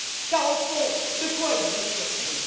Car, au fond, de quoi êtes vous surpris?